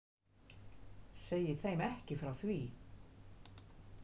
Segi þeim ekki frá því.